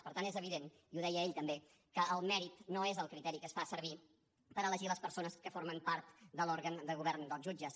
per tant és evident i ho deia ell també que el mèrit no és el criteri que es fa servir per elegir les persones que formen part de l’òrgan de govern dels jutges